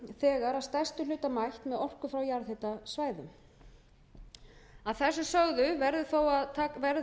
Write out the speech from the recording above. þegar að stærstum hluta mætt með orku frá jarðhitasvæðum að þessu sögðu verður þó að taka